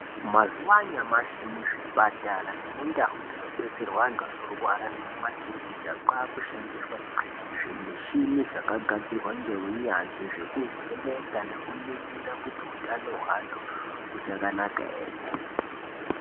Mazuva anyamasi muzvipatara nemundau dzinobetserwe antu anorwara nemumakiriniki kwakushandiswa zvimushini zvakagadzirwe ngeunyanzvi .Zvekuvheneka nekuningira hutano hweantu uchakanaka ere.